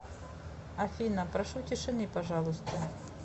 афина прошу тишины пожалуйста